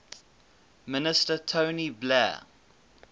minister tony blair